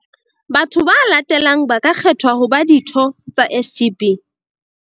Batho ba latelang ba ka kgethwa ho ba ditho tsa SGB.